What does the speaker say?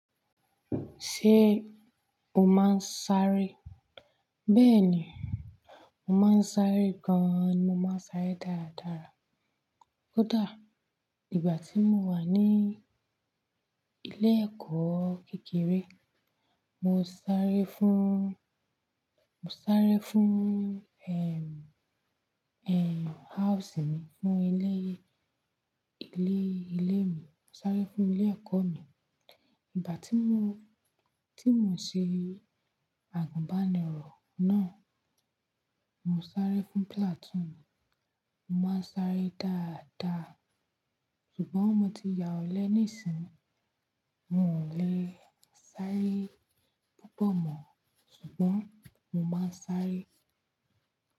Ṣé o máa ń sáré? Bẹ́ẹ̀ni, mo máa ń sáré gan. Mo máa ń sáré dáadáa. Ko da Ìgbà tí mo wà ní ilé ẹ̀kọ́ kékeré, mo sáré fún, mo sáré fún,, house mi, fún ilé, ilé, ilé mi. Mo sáré fún ilé ẹ̀kọ́ mi. Ìgbà tí mo, tí mo n ṣe àgùnbánirọ̀ náà, mo sáré fún platoon mi. Mo má ń sáré dáadáa, ṣùgbọ́n mo ti ya ọ̀lẹ níìsín, mo ò lè sáré púpọ̀ mọ́, ṣùgbọ́n mo máa ń sáré.